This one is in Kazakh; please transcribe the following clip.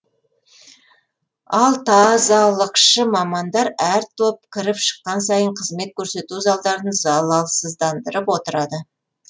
ал тазалықшы мамандар әр топ кіріп шыққан сайын қызмет көрсету залдарын залалсыздандырып отырады